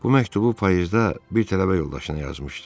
Bu məktubu payızda bir tələbə yoldaşına yazmışdı.